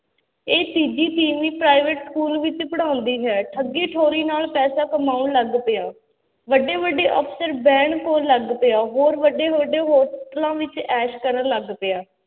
ਇਹ ਤੀਜੀ ਤੀਵੀਂ private school ਵਿੱਚ ਪੜ੍ਹਾਉਂਦੀ ਹੈ ਠੱਗੀ ਠੋਰੀ ਨਾਲ ਪੈਸਾ ਕਮਾਉਣ ਲੱਗ ਪਿਆ, ਵੱਡੇ ਵੱਡੇ ਅਫ਼ਸਰ ਬਹਿਣ ਕੋਲ ਲੱਗ ਪਿਆ, ਹੋਰ ਵੱਡੇ ਵੱਡੇ ਹੋਟਲਾਂ ਵਿੱਚ ਐਸ਼ ਕਰਨ ਲੱਗ ਗਿਆ,